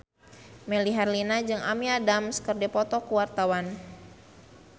Melly Herlina jeung Amy Adams keur dipoto ku wartawan